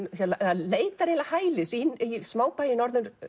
leitar hælis í smábæ í Norður